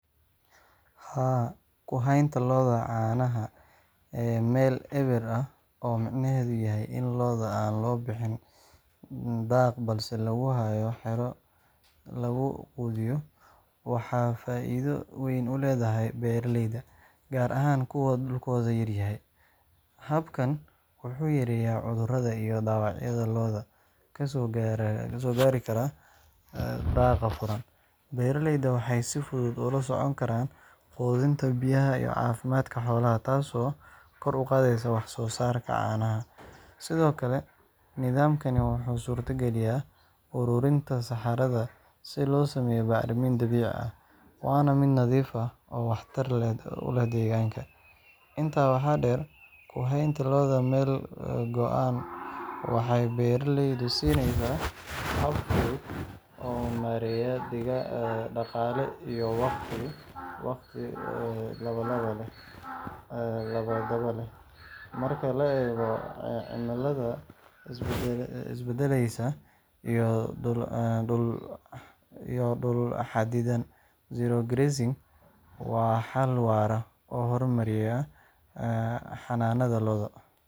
Haa, ku haynta lo’da caanaha ee meel eber ah—oo micnaheedu yahay in lo’da aan loo bixin daaq balse lagu hayo xero lagu quudiyo—waxa ay faa’iido weyn u leedahay beeraleyda, gaar ahaan kuwa dhulkoodu yaryahay. Habkan wuxuu yareeyaa cudurrada iyo dhaawacyada lo’da ka soo gaari kara daaqa furan. Beeraleydu waxay si fudud ula socon karaan quudinta, biyaha, iyo caafimaadka xoolaha, taasoo kor u qaadda wax-soo-saarka caanaha. Sidoo kale, nidaamkani wuxuu suurtageliyaa ururinta saxarada si loo sameeyo bacriminta dabiiciga ah, waana mid nadiif ah oo waxtar u leh deegaanka. Intaa waxaa dheer, ku haynta lo’da meel go’an waxay beeraleyda siinaysaa hab fudud oo maarayn dhaqaale iyo waqti labadaba leh. Marka la eego cimilada isbeddelaysa iyo dhul xaddidan, zero grazing waa xal waara oo horumarinaya xanaanada lo’da.